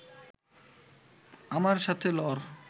আমার সাথে লড়